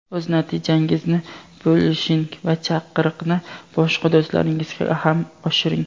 o‘z natijangizni bo‘lishing va chaqiriqni boshqa do‘stlaringizga ham oshiring!.